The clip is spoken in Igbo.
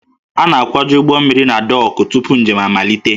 A na-akwaju ụgbọ mmiri na dọọkụ tupu njem amalite